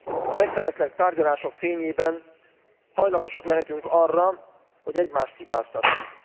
A megfeneklett tárgyalások fényében hajlamosak lehetünk arra, hogy egymást hibáztassuk.